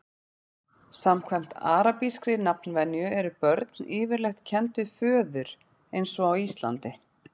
samkvæmt arabískri nafnvenju eru börn yfirleitt kennd við föður eins og á íslandi